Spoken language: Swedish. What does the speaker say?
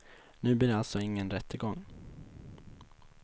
Nu blir det alltså ingen rättegång.